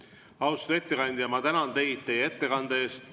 Austatud ettekandja, ma tänan teid teie ettekande eest!